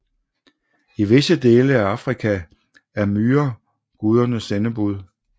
I visse dele af Afrika er myrer gudernes sendebud